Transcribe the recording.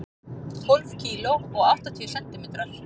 Tólf kíló og áttatíu sentimetrar.